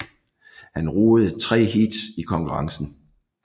Han roede tre heats i konkurrencen